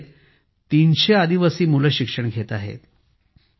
या शाळेत 300 आदिवासी मुळे शिक्षण घेत आहेत